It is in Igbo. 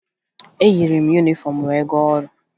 Eyiri m yunifọmụ m wee gaa ọrụ